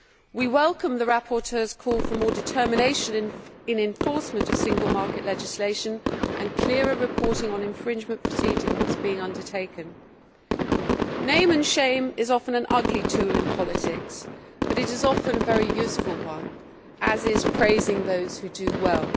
We welcome the rapporteur's call for more determination in the enforcement of single market legislation and clearer reporting on infringement proceedings being taken. Name and shame' is often an ugly tool in politics, but it is often a very useful one as is praising those who do well.